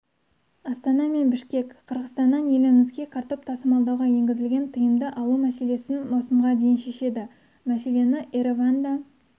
астана мен бішкек қырғызстаннан елімізге картоп тасымалдауға енгізілген тыйымды алу мәселесін маусымға дейін шешеді мәселені ереванда